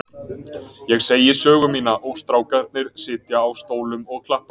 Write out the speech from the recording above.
Ég segi sögu mína og strákarnir sitja á stólum og klappa.